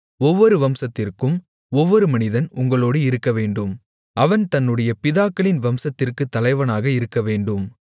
ஒவ்வொரு வம்சத்திற்கும் ஒவ்வொரு மனிதன் உங்களோடு இருக்கவேண்டும் அவன் தன்னுடைய பிதாக்களின் வம்சத்திற்குத் தலைவனாக இருக்கவேண்டும்